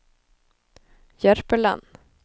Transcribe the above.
Jørpeland